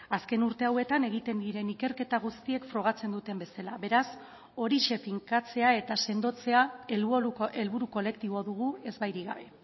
azken urte hauetan egiten diren ikerketa guztiek frogatzen duten bezala beraz horixe finkatzea eta sendotzea helburu kolektibo dugu ezbairik gabe